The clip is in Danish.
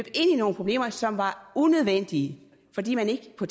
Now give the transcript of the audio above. i nogle problemer som var unødvendige fordi man ikke på